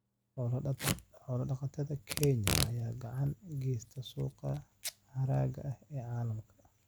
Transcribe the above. Xoolo dhaqatada Kenya ayaa gacan ka geysta suuqa hargaha ee caalamka.